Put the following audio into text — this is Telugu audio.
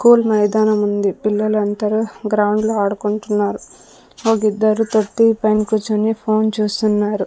కూల్ మైదానముంది పిల్లలంతరూ గ్రౌండ్లో ఆడుకుంటున్నారు ఒగిద్దరు తొట్టి పైన కుచ్చొని ఫోన్ చూస్తున్నారు.